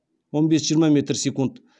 он бес жиырма метр секунд